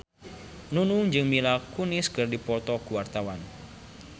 Nunung jeung Mila Kunis keur dipoto ku wartawan